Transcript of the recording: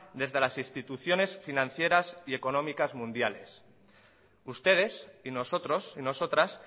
desde las instituciones financieras y económicas mundiales ustedes y nosotros y nosotras